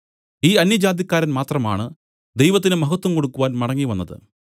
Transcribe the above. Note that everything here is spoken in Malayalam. ഈ അന്യജാതിക്കാരൻ മാത്രമാണ് ദൈവത്തിന് മഹത്വം കൊടുക്കുവാൻ മടങ്ങിവന്നത്